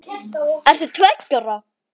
Ert þú tveggja ára?